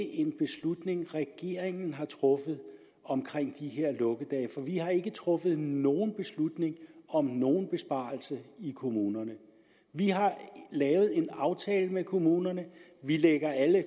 en beslutning som regeringen har truffet vi har ikke truffet nogen beslutning om nogen besparelser i kommunerne vi har lavet en aftale med kommunerne vi lægger alle